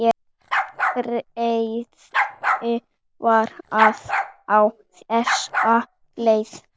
Bréfið var á þessa leið